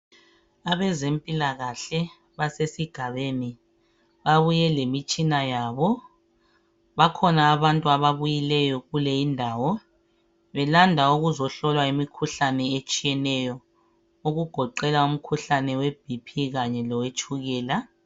Abezempilakahle basesigabeni lapho babuye lemitshina yabo. Bakhona abantu ababuyileyo kuleyi indawo belanda ukuzohlolwa imikhuhlane etshiyeneyo okugoqela umkhuhlane we Bp kanye lowetshukela